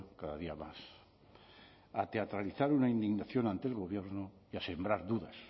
cada día más a teatralizar una indignación ante el gobierno y a sembrar dudas